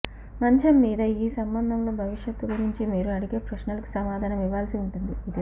మంచం మీద మీ సంబంధంలో భవిష్యత్తు గురించి మీరు అడిగే ప్రశ్నలకు సమాధానం ఇవ్వాల్సి ఉంటుంది